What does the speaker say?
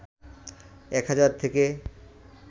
১ হাজার থেকে